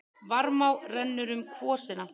Varmá rennur um kvosina.